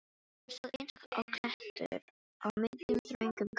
Hann stóð eins og klettur á miðjum, þröngum ganginum.